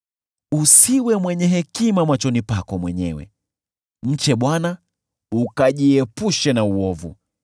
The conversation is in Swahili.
Usiwe mwenye hekima machoni pako mwenyewe; mche Bwana ukajiepushe na uovu.